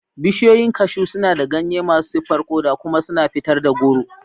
Bishiyoyin cashew suna da ganye masu siffar koda kuma suna fitar da goro.